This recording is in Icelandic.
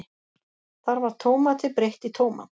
Þar var Tómati breytt í tómat.